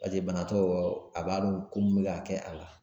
bana t'o yɔrɔ a b'a dɔn ko mun bɛ ka kɛ a la